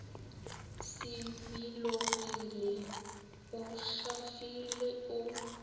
se bilogile o hlafile o